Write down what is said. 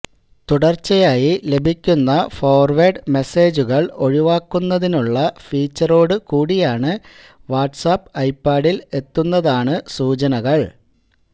തുടർച്ചയായി ലഭിക്കുന്ന ഫോർവേഡ് മെസേജുകൾ ഒഴിവാക്കുന്നതിനുള്ള ഫീച്ചറോട് കൂടിയാണ് വാട്സ്ആപ്പ് ഐപാഡിൽ എത്തുന്നതാണ് സൂചനകൾ